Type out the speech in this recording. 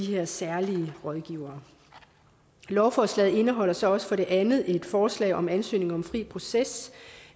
her særlige rådgivere lovforslaget indeholder så også for det andet et forslag om at ansøgning om fri proces